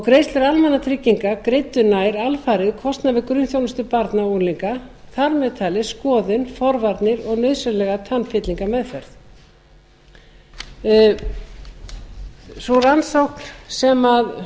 greiðslur almannatrygginga greiddu nær alfarið kostnað við grunnþjónustu barna og unglinga þar með talið skoðun forvarnir og nauðsynlega tannfyllingameðferð sú rannsókn sem